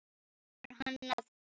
Biður hann að bíða.